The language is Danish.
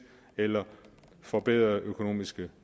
eller forbedrede økonomiske